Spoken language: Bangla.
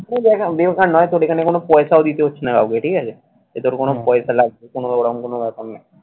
ও জায়গা তোর এখানে কোন পয়সাও দিতে হচ্ছে না কাউকে ঠিক আছে। এদের কোন পয়সা লাগবে ওরকম কোন ব্যাপার নয়।